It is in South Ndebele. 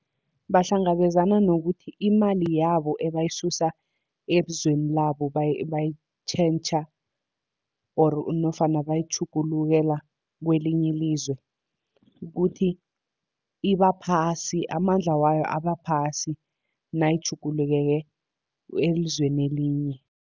Bahlangabezana nokuthi imali yabo ebayisusa ebuzweni labo bayitjhentjha or nofana bayitjhugulukela kwelinye ilizwe, kukuthi iba phasi amandla wayo aba phasi nayitjhugulukele elizweni elinye.